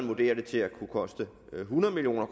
vurderer det til at kunne koste hundrede million